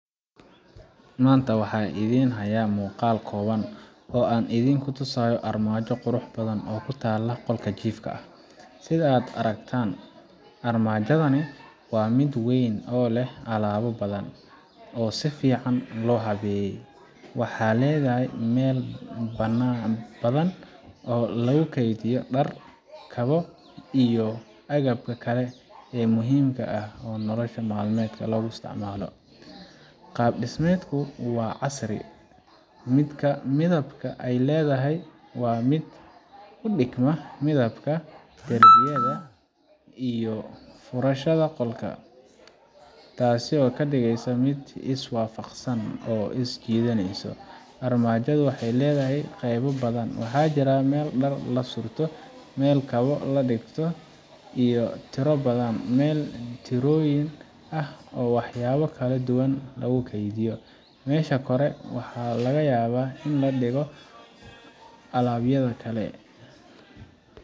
pause Maanta waxan idhiin haya muuqal kooban oo an idhin ku tusaayo armaajo qurux badhan oo kutala qolka jiifka ah. Sidhaa aragtaan armaajadhani waa mid weyn oo leeh alaba badhan oo si fican loo laweyee, waxay leedhahy meel badhan oo banan oo lagu keydhiyo daar, kawoo iyo agabka kale oo muhiimka ah oo nolol malmedka loo istacmalo. Qaab dismedku waa casrii midibka ay leedhahay waa mid u digma midhabka darbiyadha iyo furaashadha qolka taasi oo kadigeysa mid is waafaqsan oo is jiidhaneyso, armaajadhu waxaay leedhahay qeebab badhan waxa jiraan meel daar lasurto, meel kawo la digto iyo tiroo badhan oo wax yaalo kala duwan lagu keydhiyo mesha kore waxa lagayawa in ladigoo alaabyadha kale.